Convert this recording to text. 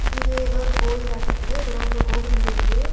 இது ஏதோ ஒரு கோயிலாட்ருக்குது கோபுர கோபுரந் தெரியிது.